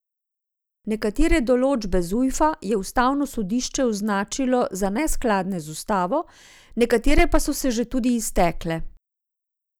Nekatere določbe Zujfa je ustavno sodišče označilo za neskladne z ustavo, nekatere pa so se že tudi iztekle.